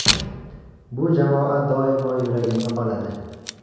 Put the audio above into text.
Bu jamoa doimo yuragimda qoladi.